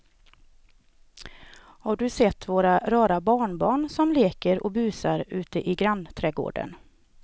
Har du sett våra rara barnbarn som leker och busar ute i grannträdgården!